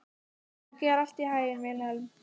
Gangi þér allt í haginn, Vilhelm.